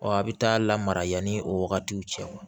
Ɔ a bɛ taa lamara yanni o wagatiw cɛ